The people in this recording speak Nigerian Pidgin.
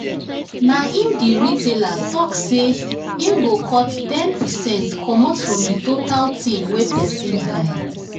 na him the retailer talk say him go cut ten percent commot from the total thing wey person buy.